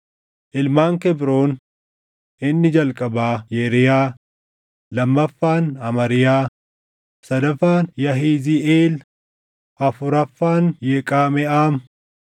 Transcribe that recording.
Ilmaan Kebroon: Inni jalqabaa Yeriyaa, lammaffaan Amariyaa, sadaffaan Yahiziiʼeel, afuraffaan Yeqameʼaam.